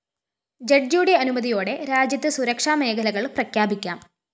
ജഡ്ജിയുടെ അനുമതിയോടെ രാജ്യത്ത് സുരക്ഷാ മേഖലകള്‍ പ്രഖ്യാപിക്കാം